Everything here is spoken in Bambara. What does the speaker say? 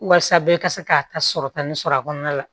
Walasa bɛɛ ka se k'a ta sɔrɔta nin sɔrɔ a kɔnɔna la